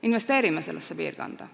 Investeerime sellesse piirkonda.